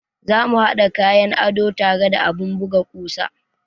Za mu haɗa kayan ado tare da abun buga kusa.